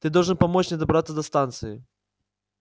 ты должен помочь мне добраться до станции